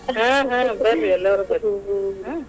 ಹಾ ಹಾ ಬರ್ರಿ ಎಲ್ಲಾರು ಬರ್ರಿ .